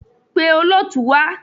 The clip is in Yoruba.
Pe olóòtú wá.